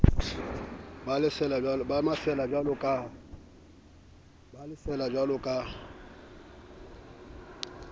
ba le sa yonajwalo ka